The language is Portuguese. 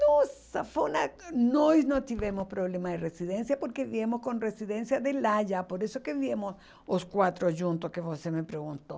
Nossa, foi uma... Nós não tivemos problema de residência porque viemos com residência de lá já, por isso que viemos os quatro juntos que você me perguntou.